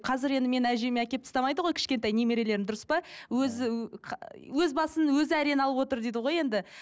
қазір енді менің әжеме әкеліп тастамайды ғой кішкентай немерелерін дұрыс па өзі өз басын өзі әрең алып отыр дейді ғой енді